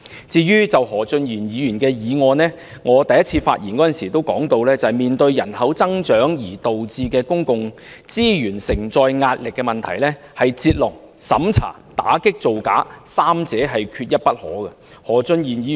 至於何俊賢議員的修正案，我在第一次發言時已提到，面對人口增長而導致公共資源承載壓力的問題，必須"截龍"、審查、打擊造假，三者缺一不可。